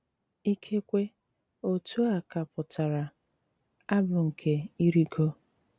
Íkékwé, ótú á ká pụ́tárá “Ábụ́ nké Ị́rị́gó.”